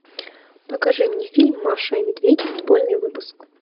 покажи мне фильм маша и медведь футбольный выпуск